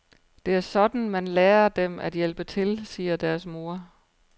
Det er sådan, man lærer dem at hjælpe til, siger deres mor.